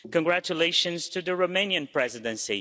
congratulations to the Romanian Presidency